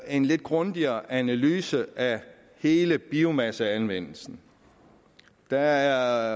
en lidt grundigere analyse af hele biomasseanvendelsen der